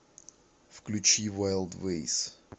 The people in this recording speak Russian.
включи вайлдвэйс